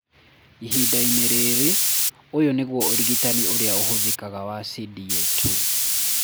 Ihinda-inĩ rĩrĩ, ũyũ nĩguo ũrigitani ũrĩa ũhũthĩkaga wa CDA 2.